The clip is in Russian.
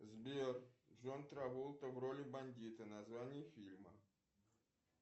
сбер джон траволта в роли бандита название фильма